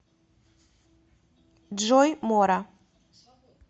джой мора